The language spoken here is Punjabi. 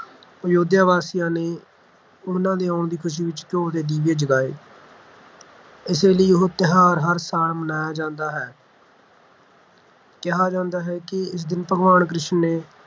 ਅਯੁੱਧਿਆ ਵਾਸੀਆਂ ਨੇ ਉਨ੍ਹਾਂ ਦੇ ਆਉਣ ਦੀ ਖੁਸ਼ੀ ਵਿਚ ਘਿਓ ਦੇ ਦੀਵੇ ਜਗਾਏ ਇਸੇ ਲਈ ਇਹ ਤਿਉਹਾਰ ਹਰ ਸਾਲ ਮਨਾਇਆ ਜਾਂਦਾ ਹੈ ਕਿਹਾ ਜਾਂਦਾ ਹੈ ਕਿ ਇਸ ਦਿਨ ਭਗਵਾਨ ਕ੍ਰਿਸ਼ਨ ਨੇ